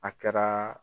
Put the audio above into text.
A kɛra